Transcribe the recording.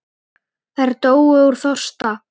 Þær dóu úr þorsta.